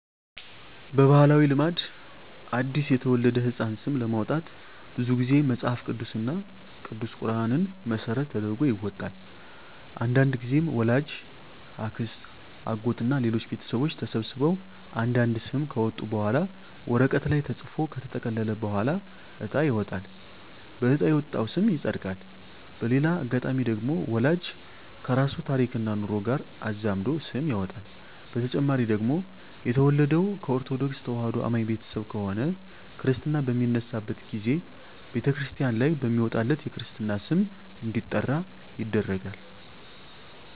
በባህላዊ ልማድ አዲስ ለተወለደ ህጻን ስም ለማውጣት ብዙ ግዜ መጸሀፍ ቅዱስ እና ቅዱስ ቁራንን መሰረት ተደርጎ ይወጣል። አንዳንድግዜም ወላጅ፣ አክስት፣ አጎት እና ሌሎች ቤተሰቦች ተሰብስበው አንድ አንድ ስም ካወጡ በኋላ ወረቀት ላይ ተጽፎ ከተጠቀለለ በኋላ እጣ ይወጣል በእጣ የወጣው ስም ይጸድቃል። በሌላ አጋጣሚ ደግሞ ወላጅ ከራሱ ታሪክና ኑሮ ጋር አዛምዶ ስም ያወጣል። በተጨማሪ ደግሞ የተወለደው ከኦርተዶክ ተዋህዶ አማኝ ቤተሰብ ከሆነ ክርስታ በሚነሳበት ግዜ በተክርስቲያን ላይ በሚወጣለት የክርስትና ስም እንዲጠራ ይደረጋል።